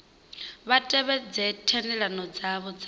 vha tevhedze thendelano dzavho dza